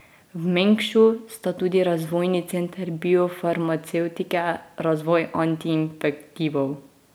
V Mengšu sta tudi Razvojni center biofarmacevtike Razvoj antiinfektivov.